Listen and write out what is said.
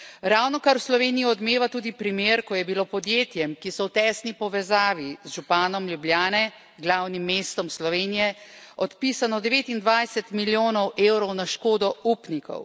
Ravnokar v Sloveniji odmeva tudi primer, ko je bilo podjetjem, ki so v tesni povezavi z županom Ljubljane, glavnim mestom Slovenije, odpisano 29 milijonov eurov na škodo upnikov.